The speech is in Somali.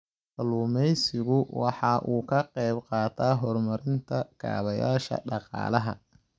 Kalluumaysigu waxa uu ka qayb qaataa horumarinta kaabayaasha dhaqaalaha.